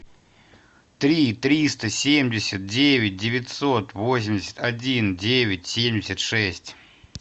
три триста семьдесят девять девятьсот восемьдесят один девять семьдесят шесть